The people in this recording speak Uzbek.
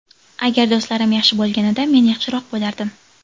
Agar do‘stlarim yaxshi bo‘lganida men yaxshiroq bo‘lardim.